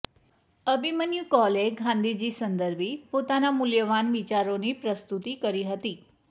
અભિમન્યુ કૌલે ગાંધીજી સંદર્ભી પોતાના મૂલ્યવાન વિચારોની પ્રસ્તુતિ કરી હતી